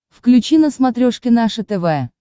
включи на смотрешке наше тв